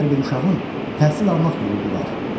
Hər bir uşağın təhsil almaq hüququ var.